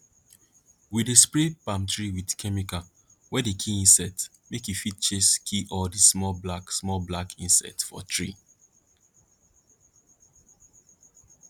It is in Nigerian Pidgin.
we dey spray palm tree with chemical wey dey kill insects make e fit chase kill all the small black small black insects for tree